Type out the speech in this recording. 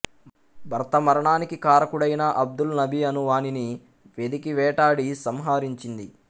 భర్త మరణానికి కారకుడైన అబ్దుల్ నబీ అను వానిని వెదికి వేటాడి సంహరించింది